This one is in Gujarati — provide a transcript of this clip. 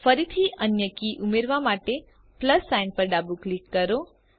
ફરીથી અન્ય કી ઉમેરવા માટે પ્લસ સાઇન પર ડાબું ક્લિક કરો